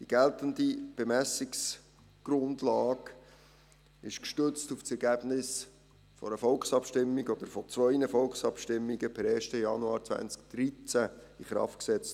Die geltenden Bemessungsgrundlagen wurden gestützt auf das Ergebnis zweier Volksabstimmungen per 1. Januar 2013 in Kraft gesetzt.